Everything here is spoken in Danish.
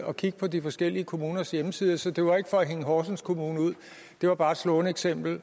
og kigge på de forskellige kommuners hjemmesider så det var ikke for at hænge horsens kommune ud det var bare et slående eksempel